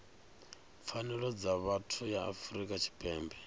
pfanelo dza vhuthu ya afrika tshipembe